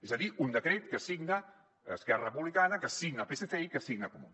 és a dir un decret que signa esquerra republicana que signa el psc i que signa comuns